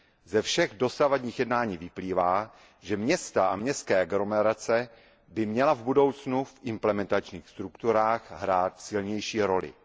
Ze všech dosavadních jednání vyplývá, že města a městské aglomerace by měly v budoucnu v implementačních strukturách hrát silnější roli.